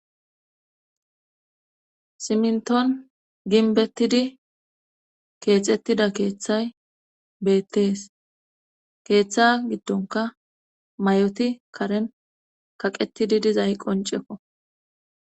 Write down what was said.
Siminton ginbettidi keexettida keeththay beettees keeththa giddonka may7oti karen kaqettidi dizay qonceko